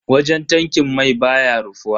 Wajen tankin mai baya rufuwa.